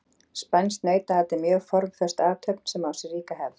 Spænskt nautaat er mjög formföst athöfn sem á sér ríka hefð.